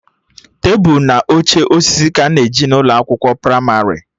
Tebụl na oche osisi ka a na-eji n'ụlọ akwụkwọ pramarị